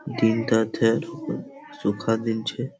দিনটাতে ধুকা সুখা দিনছে ।